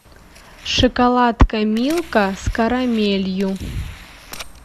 шоколадка милка с карамелью